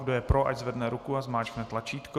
Kdo je pro, ať zvedne ruku a zmáčkne tlačítko.